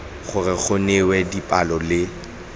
gore go newa dipalo le